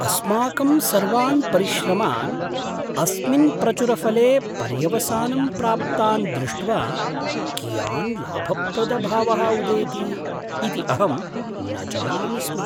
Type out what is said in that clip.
अस्माकं सर्वान् परिश्रमान् अस्मिन् प्रचुरफले पर्यवसानं प्राप्तान् दृष्ट्वा कियान् लाभप्रदभावः उदेति इति अहं न जानामि स्म।